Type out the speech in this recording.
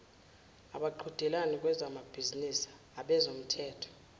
abaqhudelani kwezamabhizinisi abezomthetho